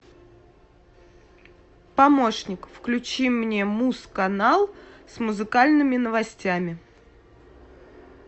помощник включи мне муз канал с музыкальными новостями